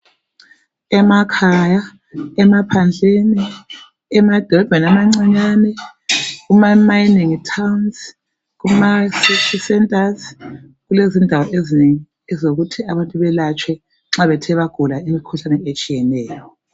Emakhaya, emaphandleni emadolobheni amancinyane, Kuma mining towns, Kuma city centres kulezindawo ezinengi ezokuthi abantu belatshwe nxa bethe bagula imikhuhlane etshiyeneyo.